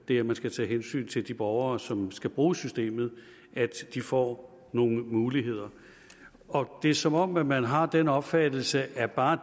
det at man skal tage hensyn til de borgere som skal bruge systemet så de får nogle muligheder og det er som om man har den opfattelse at bare